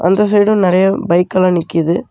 அந்த சைடும் நிறைய பைக் எல்லா நிக்கிது.